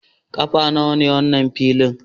Kafa nawa ne wannan filin?